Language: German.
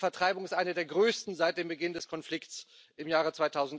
Diese Vertreibung ist eine der größten seit dem Beginn des Konflikts im Jahre